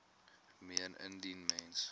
meen indien mens